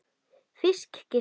Fisk, giskaði ég.